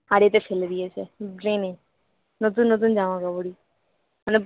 হাড়িতে ফেলে দিয়েছে ড্রেনে নতুন নতুন জামাকাপড়ই মানে